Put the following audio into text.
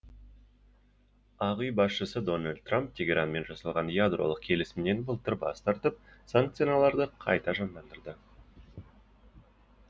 ақ үй басшысы дональд трамп тегеранмен жасалған ядролық келісімнен былтыр бас тартып санкцияларды қайта жандандырды